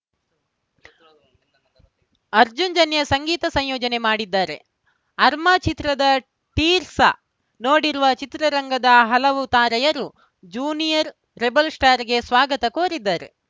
ಅರ್ಜುನ್‌ ಜನ್ಯ ಸಂಗೀತ ಸೈಯೋಜನೆ ಮಾಡಿದ್ದಾರೆ ಅರ್ಮ ಚಿತ್ರದ ಟೀಸರ್‌ ನೋಡಿರುವ ಚಿತ್ರರಂಗದ ಹಲವು ತಾರೆಯರು ಜೂನಿಯರ್‌ ರೆಬೆಲ್‌ಸ್ಟಾರ್‌ಗೆ ಸ್ವಾಗತ ಕೋರಿದ್ದಾರೆ